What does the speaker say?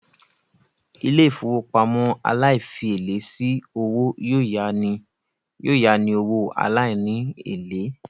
Ilé-ìfowópamọ́ aláìfièlé sí owó yóò yání owó aláìní èlé